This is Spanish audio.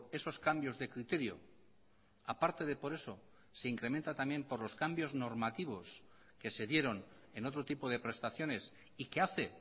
esos cambios de criterio a parte de por eso se incrementa también por los cambios normativos que se dieron en otro tipo de prestaciones y que hace